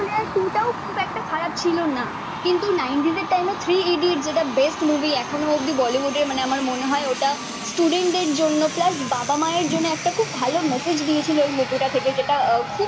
খারাপ ছিল না কিন্তু নাইন্টিজের টাইম এ ত্রি ইডিয়টস যেটা বেস্ট মুভি এখনো অব্দি বলিউডের মানে আমার মনে হয়ে ওটা স্টুডেন্টদের জন্য প্লাস বাবা মায়ের জন্য একটা খুব ভালো মেসেজ দিয়েছিলো ওই মুভি টা থেকে যেটা খুব